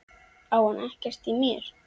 Á hann ekkert í mér?